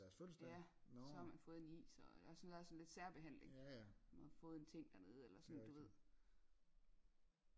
Ja så har man fået en is og så der er sådan lidt særbehandling og fået en ting dernede eller sådan du ved